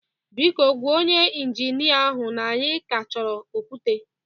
Biko, gwa onye injinia ahụ na anyị ka achọrọ okwute